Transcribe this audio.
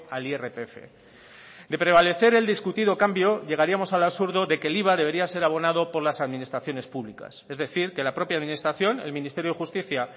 al irpf de prevalecer el discutido cambio llegaríamos al absurdo de que el iva debería ser abonado por las administraciones públicas es decir que la propia administración el ministerio de justica